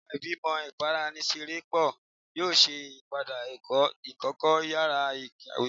Awọn igbimọ ibaraenisepo yoo ṣe iyipada ẹkọ ikẹkọ yara ikawe